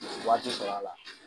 Wari ti sɔrɔ a la.